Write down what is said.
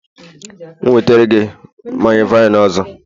m'gēwetara gi manya-vine ọzọ?